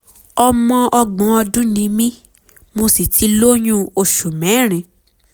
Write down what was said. ọmọ ọgbọ̀n ọdún ni mí mo sì ti lóyún oṣù mẹ́rin